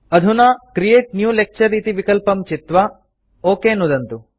अधुना create new lecture इति विकल्पं चित्वा ओक इत्यत्र नुदन्तु